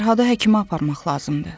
Fərhadı həkimə aparmaq lazımdır.